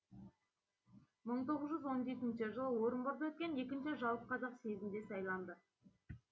мың тоғыз жүз он жетінші жылы орынборда өткен екінші жалпықазақ съезінде сайланды